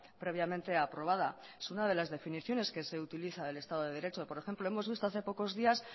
previamente aprobada es una de las definiciones que se utiliza del estado de derecho por ejemplo hemos visto hace pocos días